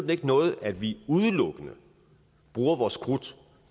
det ikke noget at vi udelukkende bruger vores krudt